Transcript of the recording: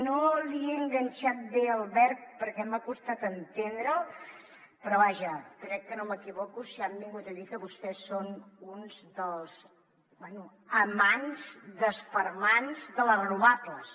no li he enganxat bé el verb perquè m’ha costat entendre’l però vaja crec que no m’equivoco si han vingut a dir que vostès són uns dels bé amants desfermants de les renovables